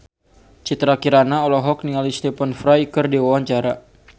Citra Kirana olohok ningali Stephen Fry keur diwawancara